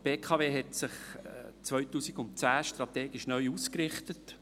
Die BKW richtete sich 2010 strategisch neu aus.